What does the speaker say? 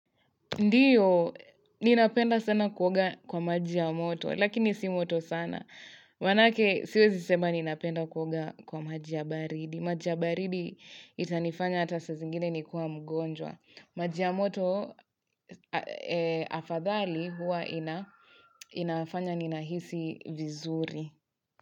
Ndiyo, ninapenda sana kuoga kwa maji ya moto, lakini si moto sana. Manake siwezi sema ninapenda kuoga kwa maji ya baridi. Maji ya baridi itanifanya hata sa zingine nikue mgonjwa. Maji ya moto afadhali huwa inafanya ninahisi vizuri.